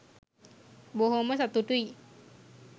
බොහොම සතුටුයි.